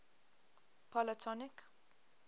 polytonic